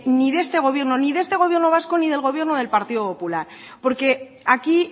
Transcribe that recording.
ni de este gobierno ni de este gobierno vasco ni del gobierno del partido popular porque aquí